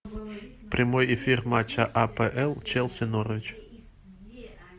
прямой эфир матча апл челси норвич